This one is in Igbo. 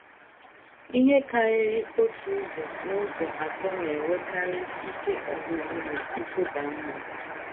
Ihe karịrị otu ụzọ n’ụzọ atọ na - enwekarị ike ọgwụgwụ na nkụda mmụọ.